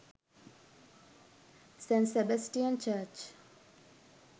st sebastian church